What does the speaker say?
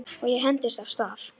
Og ég hentist af stað.